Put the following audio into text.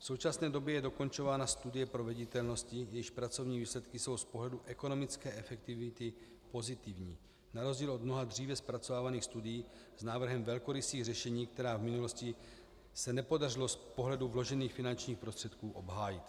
V současné době je dokončována studie proveditelnosti, jejíž pracovní výsledky jsou z pohledu ekonomické efektivity pozitivní na rozdíl od mnoha dříve zpracovávaných studií s návrhem velkorysých řešení, která v minulosti se nepodařilo z pohledu vložených finančních prostředků obhájit.